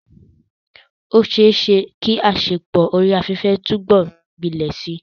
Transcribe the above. Ó ṣeé ṣe kí àṣepọ̀ orí afẹ́fẹ́ túbọ̀ gbilẹ̀ síi.